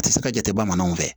A tɛ se ka jate bamananw fɛ